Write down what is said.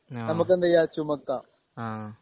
ആഹ് ആഹ് ആഹ്